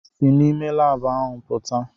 Si n'ime laabụ ahụ pụta!